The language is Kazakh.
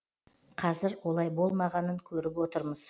қазір олай болмағанын көріп отырмыз